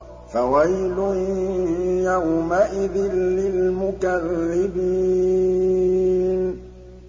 فَوَيْلٌ يَوْمَئِذٍ لِّلْمُكَذِّبِينَ